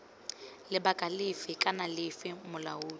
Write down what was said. lebaka lefe kana lefe molaodi